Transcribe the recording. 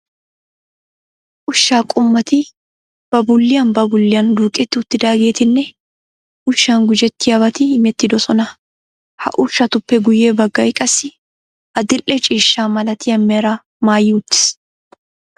Ushshaa qommoti ba buliyan buliyan duuqetti uttidaageetinne ushshan gujettiyabati imettidosona. Ha ushshatuppe guyye baggay qassi adil"e ciishsha malatiya meraa maayi uttiis.